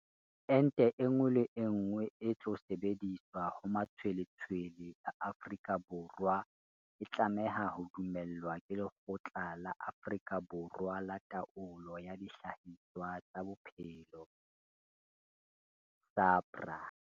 Ente enngwe le enngwe e tlo sebediswa ho matshweletshwele a Afrika Borwa e tlameha ho dumellwa ke Lekgotla la Afrika Borwa la Taolo ya Dihlahiswa tsa Bophelo, SAHPRA.